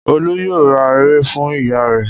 Olú yóò ra ère fún ìyá rẹ̀.